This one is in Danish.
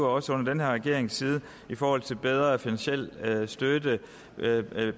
også under den her regerings tid i forhold til bedre finansiel støtte